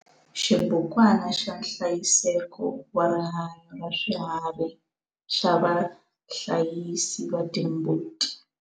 Xibukwana xa nhlayiseko wa rihanyo ra swiharhi xa vahlayisi va timbuti.